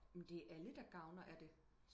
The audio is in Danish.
men det er alle der gavner af det